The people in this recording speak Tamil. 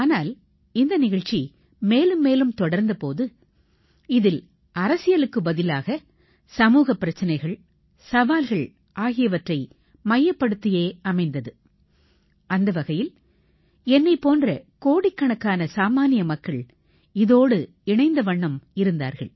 ஆனால் இந்த நிகழ்ச்சி மேலும் மேலும் தொடர்ந்த போது இதில் அரசியலுக்குப் பதிலாக சமூகப் பிரச்சினைகள் சவால்கள் ஆகியவற்றை மையப்படுத்தியே அமைந்தது அந்த வகையில் என்னைப் போன்ற கோடிக்கணக்கான சாமான்ய மக்கள் வானொலியோடு இணைந்த வண்ணம் இருந்தார்கள்